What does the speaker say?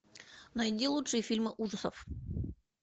найди лучшие фильмы ужасов